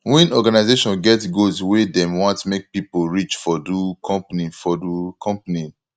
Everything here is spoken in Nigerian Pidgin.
when organisation get goals wey dem want make pipo reach for do company for do company